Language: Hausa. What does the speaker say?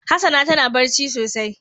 Hassana tana ɓarci sosai.